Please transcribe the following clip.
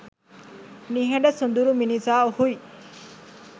නිහඬ සොදුරු මිනිසා ඔහුයි